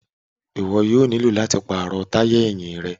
Iwọ yoo nilo lati paarọ taya ẹhin rẹ